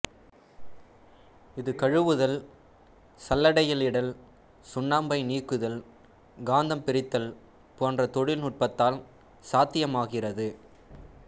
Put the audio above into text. இது கழுவுதல் சல்லடையிடல் சுண்ணாம்பை நீக்குதல் காந்தம் பிரித்தல் போன்ற தொழில் நுட்பத்தால் சாத்தியமாகிறது